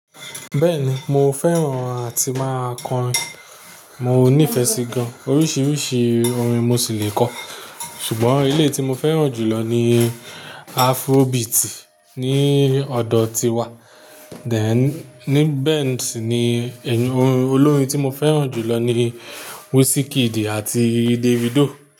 Bẹ́ẹ̀ni, mo fẹ́ràn àti máa kọ orin. Mo nífẹ̀ẹ́ sí gan-an. Oríṣiríṣi orin mo sì le kọ. Ṣùgbọ́n ilé tí mo fẹ́ràn jùlọ ni Afrobeat ní ọ̀dọ̀ tiwa. Thèn ní bẹ́ẹ̀ sì ni ẹnu-- orin olórin tí mo fẹ́ràn jùlọ ni Wizkid àti Davido.